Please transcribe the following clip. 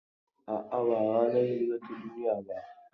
A'a, ba ranar hira ta duniya ba.